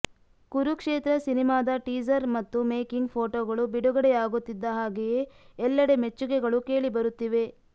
ಕುರುಕ್ಷೇತ್ರ ಸಿನಿಮಾದ ಟೀಸರ್ ಮತ್ತು ಮೇಕಿಂಗ್ ಫೋಟೋಗಳು ಬಿಡುಗಡೆ ಆಗುತ್ತಿದ್ದ ಹಾಗೆಯೇ ಎಲ್ಲೆಡೆ ಮೆಚ್ಚುಗೆಗಳು ಕೇಳಿ ಬರುತ್ತಿವೆ